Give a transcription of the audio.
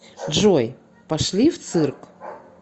джой пошли в цирк